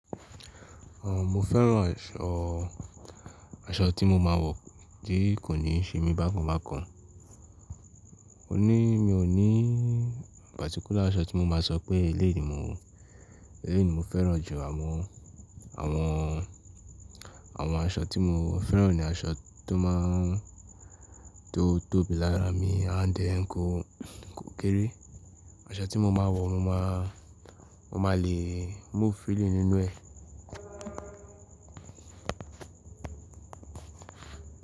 Ọmọ fẹ́ràn eṣọ, aṣọ tí mo máa ń wọ̀ kì í kò ní ṣe mí bákan bákan. Ó ní, mi ò ní particular aṣọ tí mo máa sọ pé eléèyí ni mò, eléèyí ni mo fẹ́ràn jù. Àmọ àwọn, àwọn aṣọ tí mo fẹ́ràn ni aṣọ tó máa ń, tó tóbi lára mi and ẹ kó, kó kéré. Aṣọ tí mo máa ń wọ̀ mo máa, mo máa le move freely nínú ẹ̀.